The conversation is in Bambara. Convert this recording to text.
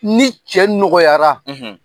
Ni cɛ nɔgɔyara